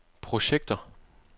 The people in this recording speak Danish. projekter